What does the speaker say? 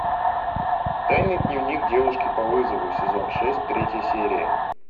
тайный дневник девушки по вызову сезон шесть третья серия